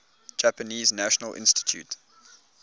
japanese national institute